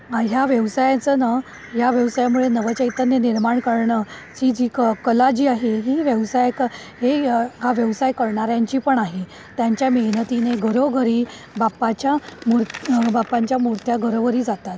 या व्यवसायचा ना व्यवसायामुळे नवचैतन्य निर्माण करण ही जी कला जी आहे व्यवसाय आहे हा व्यवसाय करणाऱ्यांची पण आहे त्यांच्या मेहनती ने घरोघरी बाप्पा च्या मूर्ती घरोघरी जातात.